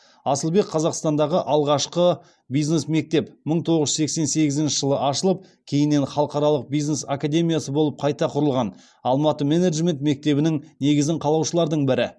асылбек қазақстандағы алғашқы бизнес мектеп мың тоғыз жүз сексен сегізіші жылы ашылып кейіннен халықаралық бизнес академиясы болып қайта құрылған алматы менеджмент мектебінің негізін қалаушылардың бірі